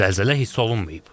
Zəlzələ hiss olunmayıb.